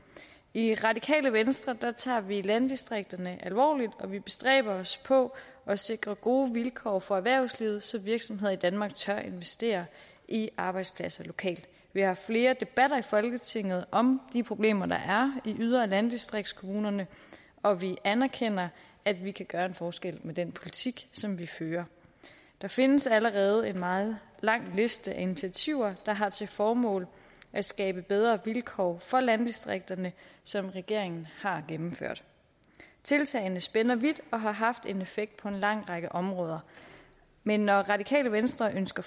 i radikale venstre tager vi landdistrikterne alvorligt og vi bestræber os på at sikre gode vilkår for erhvervslivet så virksomheder i danmark tør investere i arbejdspladser lokalt vi har haft flere debatter i folketinget om de problemer der er i yder og landdistriktskommunerne og vi anerkender at vi kan gøre en forskel med den politik som vi fører der findes allerede en meget lang liste af initiativer der har til formål at skabe bedre vilkår for landdistrikterne som regeringen har gennemført tiltagene spænder vidt og har haft en effekt på en lang række områder men når radikale venstre ønsker